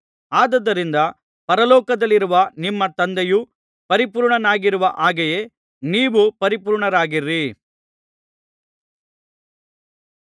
ಆದುದರಿಂದ ಪರಲೋಕದಲ್ಲಿರುವ ನಿಮ್ಮ ತಂದೆಯು ಪರಿಪೂರ್ಣನಾಗಿರುವ ಹಾಗೆಯೇ ನೀವೂ ಪರಿಪೂರ್ಣರಾಗಿರಿ